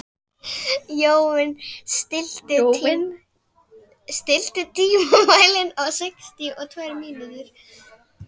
Jóvin, stilltu tímamælinn á sextíu og tvær mínútur.